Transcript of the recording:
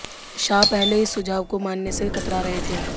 शाह पहले इस सुझाव को मानने से कतरा रहे थे